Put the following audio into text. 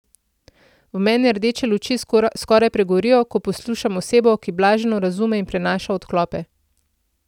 V meni rdeče luči skoraj pregorijo, ko poslušam osebo, ki blaženo razume in prenaša odklope.